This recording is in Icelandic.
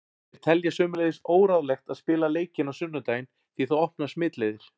Þeir telja sömuleiðis óráðlegt að spila leikinn á sunnudaginn því það opnar smitleiðir.